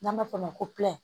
N'an b'a fɔ o ma ko